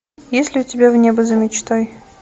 есть ли у тебя в небо за мечтой